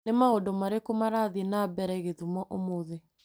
Nĩ maũndũ marĩkũ marathiĩ na? mbere gĩthumo ũmũthĩ